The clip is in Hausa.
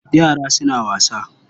Yara suna wasa.